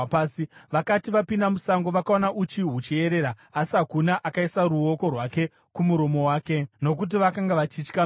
Vakati vapinda musango, vakaona uchi huchiyerera, asi hakuna akaisa ruoko rwake kumuromo wake, nokuti vakanga vachitya mhiko.